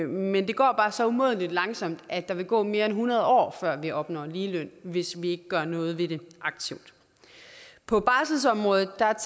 men det går bare så umådelig langsomt at der vil gå mere end hundrede år før vi opnår ligeløn hvis vi ikke aktivt gør noget ved det på barselsområdet